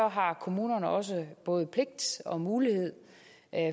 har kommunerne også både pligt og mulighed